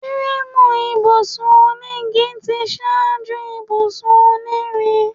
Fúréémù ibùsùn onígi tí ṣáájú ibùsùn onírin.